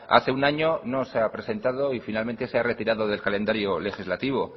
hace un año no se ha presentado y finalmente se ha retirado del calendario legislativo